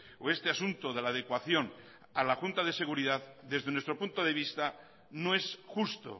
o este asunto de la adecuación a la junta de seguridad desde nuestro punto de vista no es justo